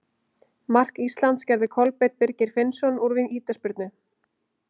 Mark Íslands gerði Kolbeinn Birgir Finnsson úr vítaspyrnu.